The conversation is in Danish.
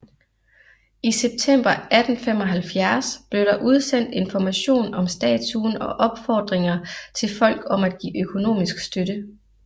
I september 1875 blev der udsendt information om statuen og opfordringer til folk om at give økonomisk støtte